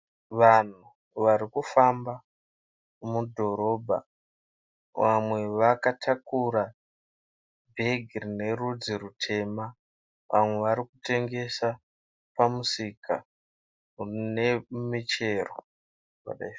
Vanhu vari kufamba mudhorobha. Vamwe vakatakura bhegi rine rudzi rutema, vamwe vari kutengesa pamisika nemichero.